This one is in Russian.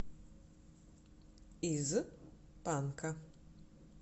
из панка